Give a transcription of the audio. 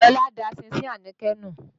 Lọlá da ṣínṣin Àníkẹ́ nù.